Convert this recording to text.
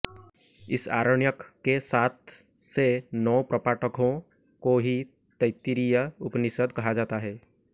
इस आरण्यक के सात से नौ प्रपाठकों को ही तैत्तिरीय उपनिषद् कहा जाता है